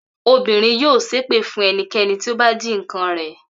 Obìnrin yóò ṣépè fún ẹnikẹ́ni tí ó bá jí nǹkan rẹ̀.